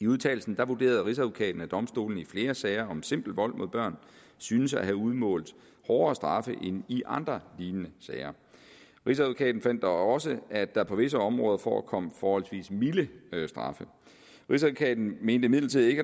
i udtalelsen vurderede rigsadvokaten at domstolene i flere sager om simpel vold mod børn syntes at have udmålt hårdere straffe end i andre lignende sager rigsadvokaten fandt dog også at der på visse områder forekom forholdsvis milde straffe rigsadvokaten mente imidlertid ikke at